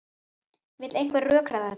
Vill einhver rökræða þetta?